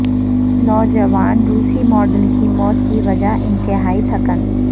نوجوان روسی ماڈل کی موت کی وجہ انتہائی تھکن